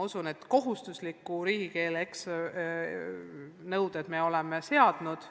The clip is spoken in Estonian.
Ja kohustusliku riigikeele nõuded me oleme seadnud.